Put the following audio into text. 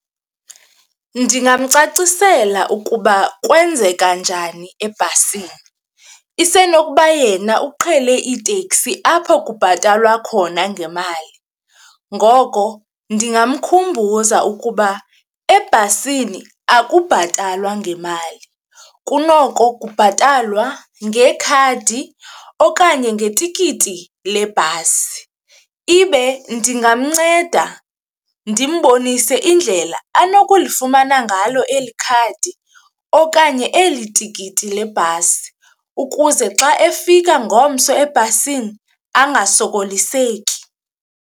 Ndingamcacisela ukuba kwenzeka njani ebhasini, isenokuba yena uqhele iiteksi apho kubhatalwa khona ngemali. Ngoko ndingamkhumbuza ukuba ebhasini akubhatalwa ngemali kunoko kubhatalwa ngekhadi okanye ngetikiti lebhasi. Ibe ndingamnceda ndimbonise indlela anokulifumana ngalo eli khadi okanye eli tikiti lebhasi ukuze xa efika ngomso ebhasini angasokoliseki.